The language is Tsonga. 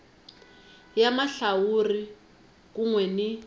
ya mahlawuri kun we ni